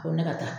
A ko ne ka taa